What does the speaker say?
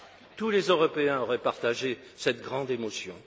Tous les Européens auraient partagé cette grande émotion.